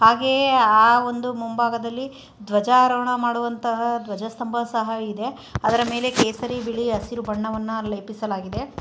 ಹಾಗೆಯೇ ಆ ಒಂದು ಮುಂಭಾಗದಲ್ಲಿ ಧ್ವಜಾರೋಹಣ ಮಾಡುವಂತಹ ಧ್ವಜಸ್ತಂಭ ಸಹ ಇದೆ. ಅದರ ಮೇಲೆ ಕೇಸರಿ ಬಿಳಿ ಹಸಿರು ಬಣ್ಣವನ್ನ ಲೇಪಿಸಲಾಗಿದೆ.